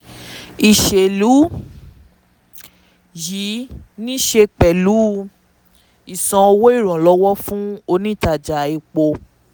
ìṣèlú yìí ní í ṣe pẹ̀lú ìsanwó ìrànlọ́wọ́ fún onítaja epo.